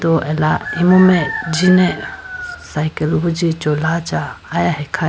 Bo ala imu mai jine cycle wuji chola cha aya hai khayi.